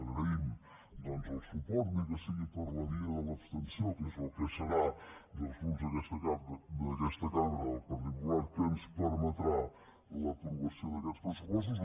agraïm doncs el suport ni que sigui per la via de l’abstenció que és el que serà dels grups d’aquesta cambra del partit popular que ens permetrà l’aprovació d’aquests pressupostos